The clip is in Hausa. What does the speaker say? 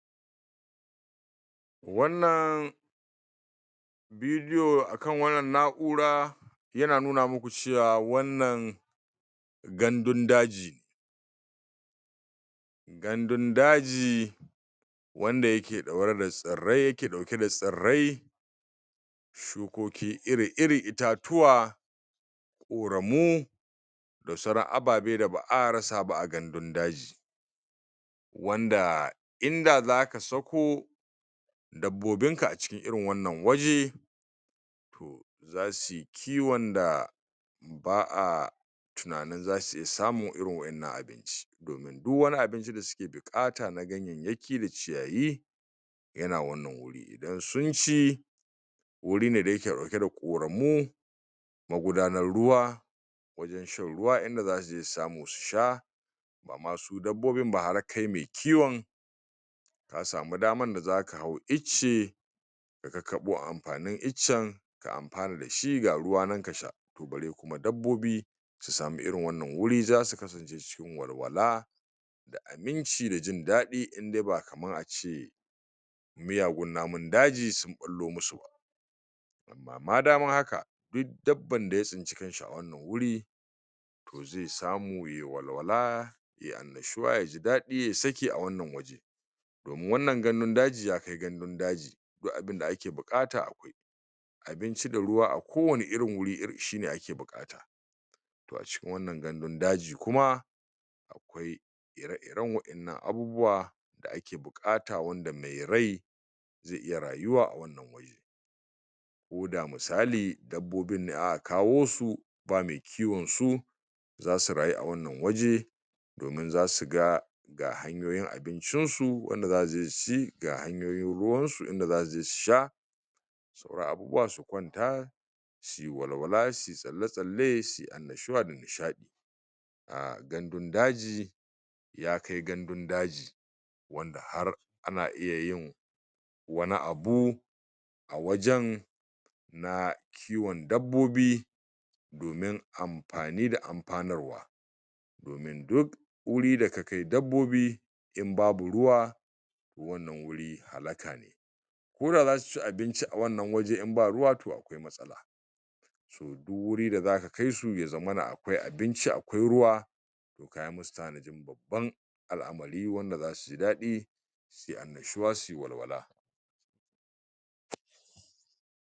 wannan video akan wannan na'ura yana nuna muku cewa wannan gandun daji gandun daji wanda yake ɗaure da tsirrai yake ɗauke da tsirrai shukoki iri iri itatuwa ƙoramu da sauran ababe da ba'a rasa ba a gandun daji wanda inda zaka sako dabbobin ka a cikin irin wanna waje zasuyi kiwon da ba'a tunanin zasu iya samu irin wa'innan abinci domin duk wani abinci da suke bukata na ganyayyaki da ciyayi yana wannan wuri idan sun ci wuri ne da yake dauke da ƙuranmu magudanar ruwa dan shan ruwa idan zasuje su samu su sha masu dabbobin ba har kai mai kiwon kasamu daman da zaka hau icce ka kakkaɓo amfanin iccen ka amfana da shi ga ruwa nan ka sha bare kuma dabbobi su samu irin wannan wuri zasu walwala abinci da jin dadi in dai ba kaman ace miyagun namun daji sun ɓullo musu ma dama haka duk dabban daya tsinci kan shi a wannan wuri zai samu yayi walwala yai annashuwa ya ji daɗi ya sake a wannan waje. wannan gandun daji ya kai gandun daji duk abin da ake buƙata abinci da ruwa a ko wani irin wuri shi ake buƙata to a cikin wannan gandun dajin kuma ire iren wa'ennan abubuwan buƙata wanda mai rai zai iya rayuwa ko da misali dabbobin ne aka kawo su ba mai kiwon su zasu rayu a wannan waje domin zasu ga ga hanyoyin abincin su wanda zasu je su ci ga hanyoyin ruwan su inda zasu je su sha ga abubuwan su ƙwanta suyi walwala suyi tsalle-tsalle suyi annashuwa da nishadi a gandun daji ya kai gandun daji wanda har ana iya yin wani abu wajen na kiwon dabbobi domin amfani da amfanarwa duk wuri da ka kai dabbobi in babu ruwa wannan wuri halaka ne ko da zasu ci abinci a wannan waje in ba ruwa kuwa. Duk wuri da zaka kai su ya zamana akwai abinci akwai ruwa to kayi musu tanajin babban al'amari wanda zasu ji daɗi da annashuwa suyi walwala.